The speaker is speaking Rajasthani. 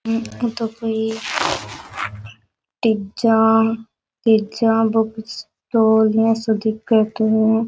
ओ तो कोई टीजा तेजा बुक स्टॉल इया सो दिख तो।